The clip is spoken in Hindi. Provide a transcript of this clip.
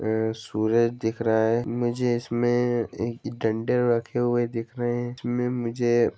अ सूरज दिख रहा हैं मुझे इसमें एक डंडे रखे हुए दिख रहे हैं इसमें मुझे--